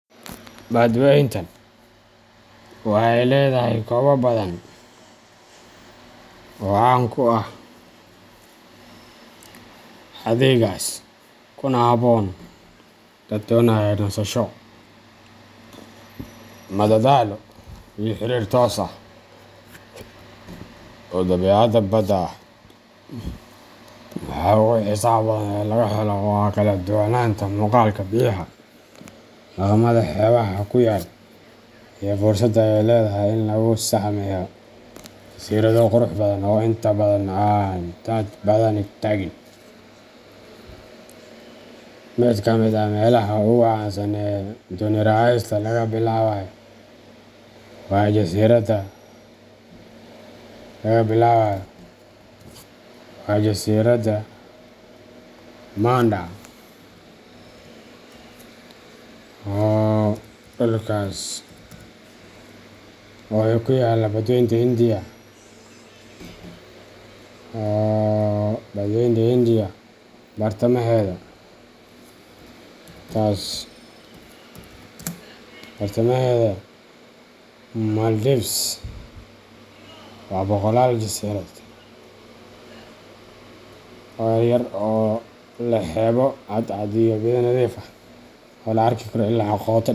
Badweyntan waxay leedahay goobo badan oo caan ku ah adeeggaas, kuna habboon dad doonaya nasasho, madadaalo, iyo xiriir toos ah oo dabiicadda badda ah. Waxa ugu xiisaha badan ee laga helo waa kala duwanaanta muuqaalka biyaha, dhaqamada xeebaha ku yaalla, iyo fursadda ay leedahay in lagu sahmiyo jasiirado qurux badan oo inta badan aan dad badani tagin. Mid ka mid ah meelaha ugu caansan ee dooni raacista laga bilaabo waa jasiiradaha Manda. Dhulkas oo ku yaalla badweynta Hindiya bartamaheeda. Maldives waa boqolaal jasiiradood yaryar oo leh xeebo cadcad, biyo nadiif ah oo la arki karo ilaa qoto.